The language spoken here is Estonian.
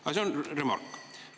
Aga see on remark.